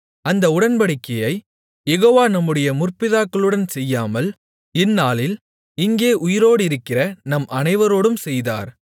அந்த உடன்படிக்கையைக் யெகோவா நம்முடைய முற்பிதாக்களுடன் செய்யாமல் இந்நாளில் இங்கே உயிரோடிருக்கிற நம் அனைவரோடும் செய்தார்